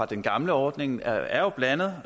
den gamle ordning er jo blandede